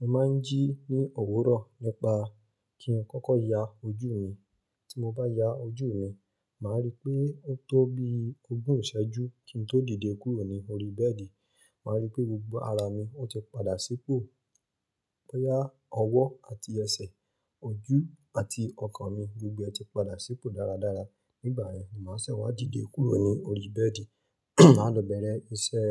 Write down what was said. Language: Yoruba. Mo máa ń jí ní òwúrọ̀ nípa kí n kọ́kọ́ ya ojú mi. Tí mo bá ya ojú mi, màá rí pé ó tó bí ogún ìṣẹ́jú kí n tó dìde kúrò ní orí bẹ́ẹ̀dì, màá rí pé gbogbo ara mi ó ti padà sípò. Bóyá ọwọ́ àti ẹsẹ̀, ojú àti ọkàn mi gbogbo ẹ ti padà sípò dáradára. Nígbà yẹn ni màá ṣẹ̀ wá dìde kúrò ní orí bẹ́ẹ̀dì. Màá lọ bẹ̀rẹ̀ iṣẹ́